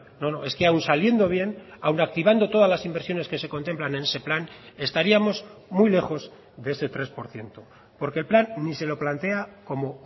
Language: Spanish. no no es que aun saliendo bien aun activando todas las inversiones que se contemplan en ese plan estaríamos muy lejos de ese tres por ciento porque el plan ni se lo plantea como